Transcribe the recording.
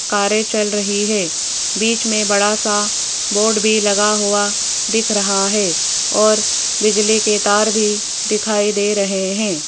कारें चल रही है बीच में बड़ा सा बोर्ड भी लगा हुआ दिख रहा है और बिजली के तार भी दिखाई दे रहे हैं।